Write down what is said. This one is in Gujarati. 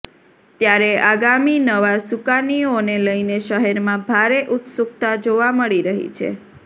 ત્યારે આગામી નવા સુકાનીઓને લઇને શહેરમાં ભારે ઉત્સુકતા જોવા મળી રહી છે